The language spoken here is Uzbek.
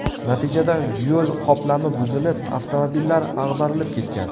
Natijada yo‘l qoplami buzilib, avtomobillar ag‘darilib ketgan.